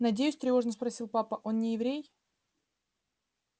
надеюсь тревожно спросил папа он не еврей